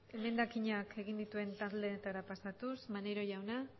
emendakinak egin dituen taldeetara pasatuz maneiro jauna